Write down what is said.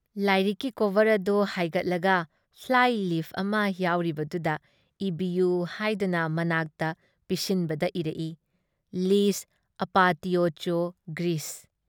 ꯂꯥꯏꯔꯤꯛꯀꯤ ꯀꯣꯚꯔ ꯑꯗꯨ ꯍꯥꯏꯒꯠꯂꯒ ꯐ꯭ꯂꯥꯏ ꯂꯤꯐ ꯑꯃ ꯌꯥꯎꯔꯤꯗꯨꯗ ꯏꯕꯤꯌꯨ ꯍꯥꯏꯗꯨꯅ ꯃꯅꯥꯛꯇ ꯄꯤꯁꯤꯟꯕꯗ ꯏꯔꯛꯏ- ꯂꯤꯖ ꯑꯥꯄꯇꯤꯌꯣꯆꯣ ꯒ꯭ꯔꯤꯁ ꯫